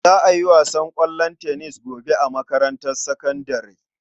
Za a yi wasan ƙwallon tennis gobe a makarantar sakandare.